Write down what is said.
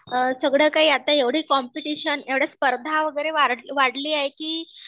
अ सगळं काही आता एवढे कॉम्पिटिशन, एवढ्या स्पर्धा वगैरे वाढले आहे की